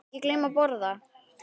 Ekki gleyma að borða.